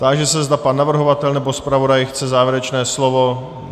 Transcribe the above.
Táži se, zda pan navrhovatel nebo zpravodaj chce závěrečné slovo.